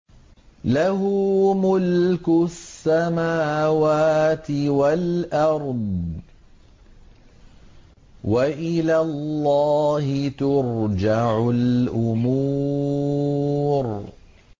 لَّهُ مُلْكُ السَّمَاوَاتِ وَالْأَرْضِ ۚ وَإِلَى اللَّهِ تُرْجَعُ الْأُمُورُ